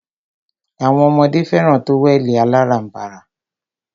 Awọn ọmọdé fẹràn tówẹ̀lì aláránbara.